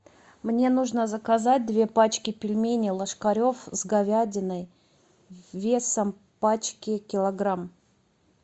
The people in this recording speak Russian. мне нужно заказать две пачки пельменей ложкаревъ с говядиной весом пачки килограмм